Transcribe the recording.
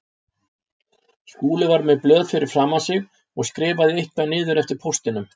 Skúli var með blöð fyrir framan sig og skrifaði eitthvað niður eftir póstinum.